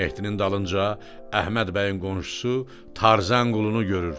Mehdinin dalınca Əhməd bəyin qonşusu Tarzan qulunu görür.